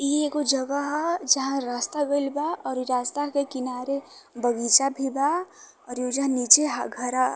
इ ऐ गो जग़ह ह जहां रास्ता गइल बा और इ रास्ता के किनारे बगीचा भी बा और उहूजा नीचे ह घरा --